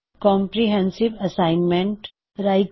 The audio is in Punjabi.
ਕੌਮਪਰਿਹੈੱਨਸਿਵ਼ ਅਸਾਇਨਮੈਂਨਟ ਵਿਆਪਕ ਕਾਰਜ